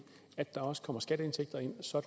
at der også kommer skatteindtægter ind så